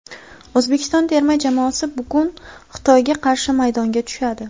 O‘zbekiston terma jamoasi bugun Xitoyga qarshi maydonga tushadi.